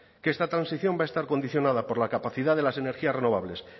que esta transición va a estar condicionada por la capacidad de las energías renovables